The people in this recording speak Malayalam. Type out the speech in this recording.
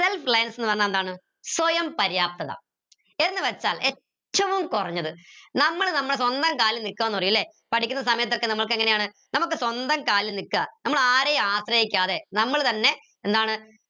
self ന്ന് പറഞ്ഞ എന്താണ് സ്വയം പര്യാപ്തത എന്ന് വെച്ചാൽ ഏറ്റവും കുറഞ്ഞത് നമ്മൾ നമ്മള് സ്വന്തം കാലി നിക്കാ ന്ന് പറയാ ല്ലേ പഠിക്കുന്ന സമയത്തൊക്കെ നമുക്ക് എങ്ങനെയാണ് നമുക്ക് സ്വന്തം കാലിൽ നിക്ക നമ്മൾ ആരെയും ആശ്രയിക്കാതെ നമ്മൾ തന്നെ എന്താണ്